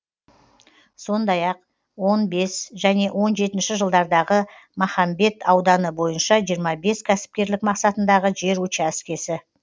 сондай ақ он алты және он жетінші жылдардағы махамбет ауданы бойынша жиырма бес кәсіпкерлік мақсатындағы жер учаскесі